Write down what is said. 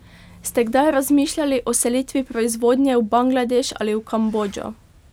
Ste kdaj razmišljali o selitvi proizvodnje v Bangladeš ali v Kambodžo?